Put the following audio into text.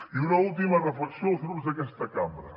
i una última reflexió als grups d’aquesta cambra